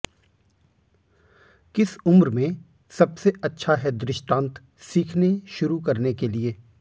किस उम्र में सबसे अच्छा है दृष्टान्त सीखने शुरू करने के लिए